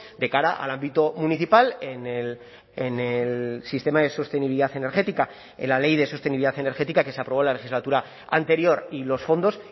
de cara al ámbito municipal en el sistema de sostenibilidad energética en la ley de sostenibilidad energética que se aprobó la legislatura anterior y los fondos